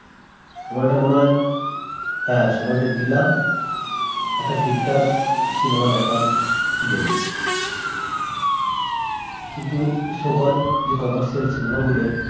সময়টা মনে হয় হ্যাঁ সময়টা দিলাম একটা ঠিকঠাক cinema দেখার জন্য কিন্তু so called যে commercial cinema গুলো